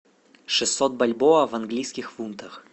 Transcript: шестьсот бальбоа в английских фунтах